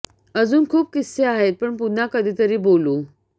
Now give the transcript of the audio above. अजून खूप किस्से आहेत पण पुन्हा कधीतरी बोलू